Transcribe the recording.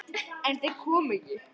En þeir koma ekki.